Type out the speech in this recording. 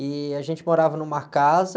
E a gente morava numa casa...